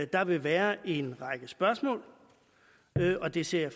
der vil være en række spørgsmål og det ser